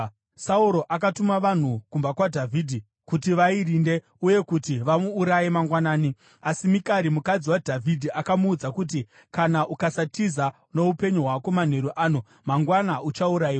Sauro akatuma vanhu kumba kwaDhavhidhi kuti vairinde uye kuti vamuuraye mangwanani. Asi Mikari, mukadzi waDhavhidhi, akamuudza kuti, “Kana ukasatiza noupenyu hwako manheru ano, mangwana uchaurayiwa.”